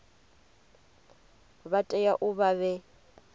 vha tea u vha vhe